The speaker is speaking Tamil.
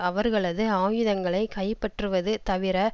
அவர்களது ஆயுதங்களை கைப்பற்றுவது தவிர